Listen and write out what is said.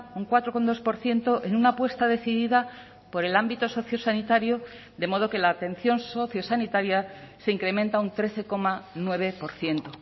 un cuatro coma dos por ciento en una apuesta decidida por el ámbito sociosanitario de modo que la atención sociosanitaria se incrementa un trece coma nueve por ciento